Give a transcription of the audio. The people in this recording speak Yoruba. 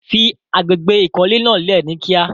Fí àgbégbé ikọ̀lẹ̀ náà lé ní kí à.